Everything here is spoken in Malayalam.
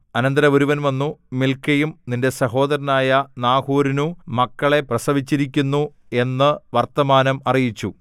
അനന്തരം ഒരുവൻ വന്നു മിൽക്കയും നിന്റെ സഹോദരനായ നാഹോരിനു മക്കളെ പ്രസവിച്ചിരിക്കുന്നു എന്നു വർത്തമാനം അറിയിച്ചു